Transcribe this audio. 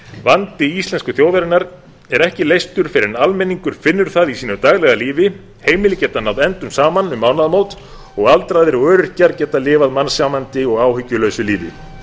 vandi íslensku þjóðarinnar er ekki leystur fyrr en almenningur finnur það í sínu daglega lífi heimili geta náð endum saman um mánaðamót og aldraðir og öryrkjar geta lifað mannsæmandi og áhyggjulausu lífi